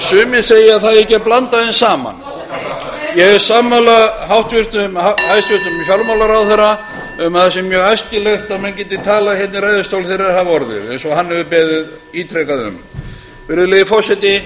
sumir segja að það eigi ekki að blanda þeim saman ég er sammála hæstvirtum fjármálaráðherra um að það sé mjög æskilegt að enn geti talað hérna í ræðustól þegar þeir hafa orðið eins og hann hefur beðið ítrekað um ég ítreka að